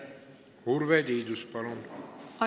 Urve Tiidus, palun!